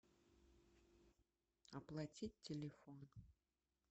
оплатить телефон